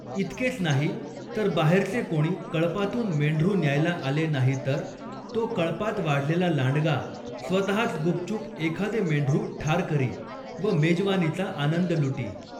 इतकेच नाही, तर बाहेरचे कोणी कळपातून मेंढरू न्यायला आले नाही तर, तो कळपांत वाढलेला लांडगा, स्वतच गुपचूप एखादे मेंढरू ठार करी, व मेजवानीचा आनंद लुटी.